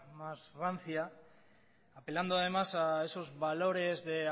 más rancia apelando además a esos valores de